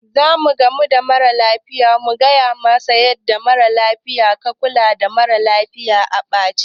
Zamu gamu da mara lafiyar mu faɗa masa yanda ya kula da ɗaya mara lafiyar a ɓace.